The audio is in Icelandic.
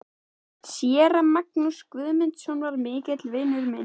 Séra Magnús Guðmundsson var mikill vinur minn.